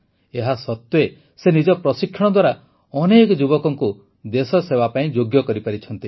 ଏହା ସତ୍ୱେ ସେ ନିଜ ପ୍ରଶିକ୍ଷଣ ଦ୍ୱାରା ଅନେକ ଯୁବକଙ୍କୁ ଦେଶସେବା ପାଇଁ ଯୋଗ୍ୟ କରିପାରିଛନ୍ତି